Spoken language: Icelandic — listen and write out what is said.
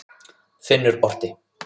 Finnur orti.